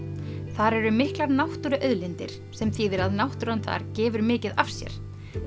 þar eru miklar náttúruauðlindir sem þýðir að náttúran þar gefur mikið af sér